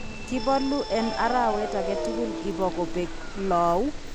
Kibolu en arawet agetugul ibo kobek lou.